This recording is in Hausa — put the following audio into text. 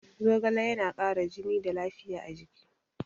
Zogale yana kara jini da lafiya a jiki